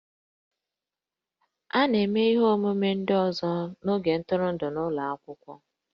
A na-eme ihe omume ndị ọzọ n'oge ntụrụndụ n'ụlọ akwụkwọ